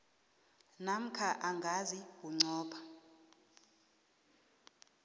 namkha ingasi bunqopha